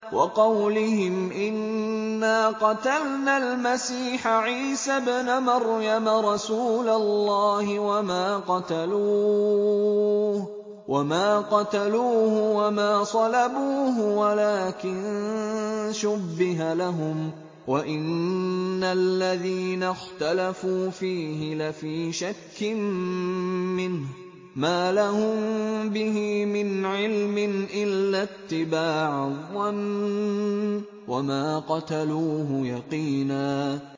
وَقَوْلِهِمْ إِنَّا قَتَلْنَا الْمَسِيحَ عِيسَى ابْنَ مَرْيَمَ رَسُولَ اللَّهِ وَمَا قَتَلُوهُ وَمَا صَلَبُوهُ وَلَٰكِن شُبِّهَ لَهُمْ ۚ وَإِنَّ الَّذِينَ اخْتَلَفُوا فِيهِ لَفِي شَكٍّ مِّنْهُ ۚ مَا لَهُم بِهِ مِنْ عِلْمٍ إِلَّا اتِّبَاعَ الظَّنِّ ۚ وَمَا قَتَلُوهُ يَقِينًا